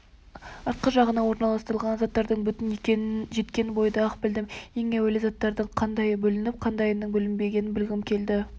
артқы жағына орналас-тырылған заттардың бүтін екенін жеткен бойда-ақ білдім ең әуелі заттардың қандайы бүлініп қандайының бүлінбегенін білгім келді